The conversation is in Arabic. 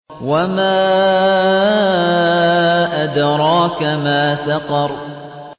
وَمَا أَدْرَاكَ مَا سَقَرُ